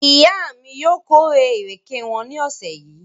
Ìyá mi yóò kórè ìrèké wọn ní ọ̀sẹ̀ yìí.